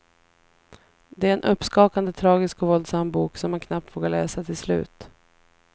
Det är en uppskakande, tragisk och våldsam bok som man knappt vågar läsa till slut.